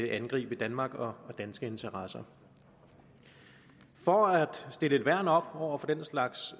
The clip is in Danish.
angribe danmark og danske interesser for at stille et værn op over for den slags